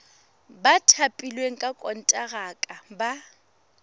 ba thapilweng ka konteraka ba